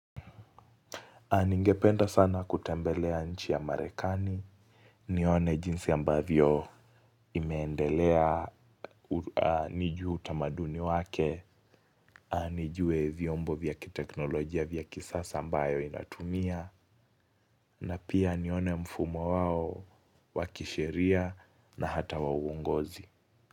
Ningependa sana kutembelea nchi ya marekani, nione jinsi ambavyo imeendelea nijue utamaduni wake, nijue viombo vya kiteknolojia vya kisasa ambayo inatumia, na pia nione mfumo wao wa kisheria na hata wa uongozi.